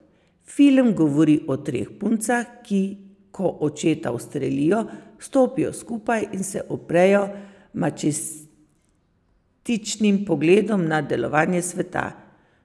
Film govori o treh puncah, ki ko očeta ustrelijo, stopijo skupaj in se uprejo mačističnim pogledom na delovanje sveta.